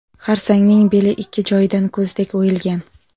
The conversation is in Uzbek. Xarsangning beli ikki joyidan ko‘zdek o‘yilgan.